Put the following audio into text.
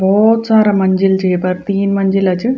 भोत सारा मंजिल च येपर तीन मंजिला च।